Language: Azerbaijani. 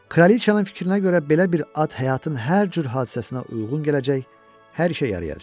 Kralıçanın fikrinə görə belə bir ad həyatın hər cür hadisəsinə uyğun gələcək, hər şeyə yarayacaq.